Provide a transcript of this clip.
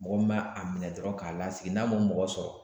Mɔgɔ min ma a minɛ dɔrɔn k'a lasigi n'a ma mɔgɔ sɔrɔ